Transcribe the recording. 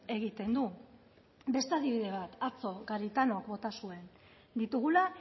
egiten du beste adibide bat atzo garitanok bota zuen ditugula